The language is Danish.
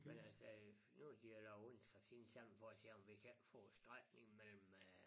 Men altså der nu de har lavet al trafikken sammen for at se om vi kan ikke få strækningen mellem øh